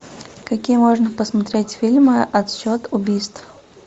какие можно посмотреть фильмы отсчет убийств